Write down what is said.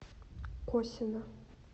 косино